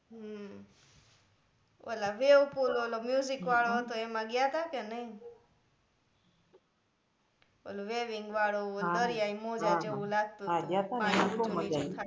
હમ ઓલા wave pool ઓલો music વાળો હતો એમાં ગયા તા કે નઈ ઓલું waving વાળુ ઓલું દરિયાઈ મોજા જેવુ લાગતું તું ગ્યાતાને બહુ મઝા આવી